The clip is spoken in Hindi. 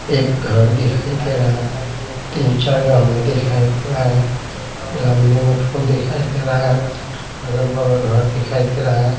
एक घर दिखाई दे रहा है तीन चार गमला दिखाई दे रहा है गमले में फूल दिखाई दे रहा है अगल-बगल घर दिखाई दे रहा है।